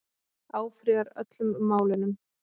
Áfrýjar öllum málunum